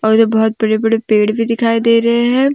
मुझे बहुत बड़े बड़े पेड़ भी दिखाई दे रहे हैं।